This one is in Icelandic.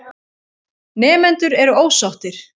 Nemendur eru ósáttir.